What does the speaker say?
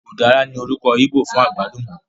Ùdára ní orúkọ íbò fún àgbálùmọ́